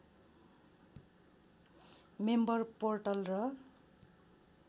member portal र